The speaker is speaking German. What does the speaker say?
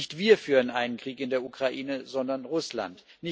Nicht wir führen einen Krieg in der Ukraine, sondern Russland.